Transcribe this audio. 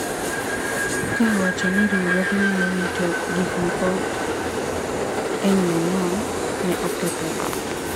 ka owacho ni riwruoge ma rito gik moko e nyo ng'ong ne okethore.